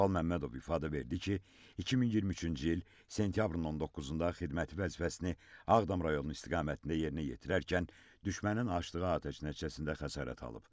Tural Məmmədov ifadə verdi ki, 2023-cü il sentyabrın 19-da xidməti vəzifəsini Ağdam rayonu istiqamətində yerinə yetirərkən düşmənin açdığı atəş nəticəsində xəsarət alıb.